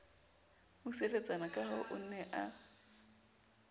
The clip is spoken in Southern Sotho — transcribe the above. buseletsana kahoo o ne a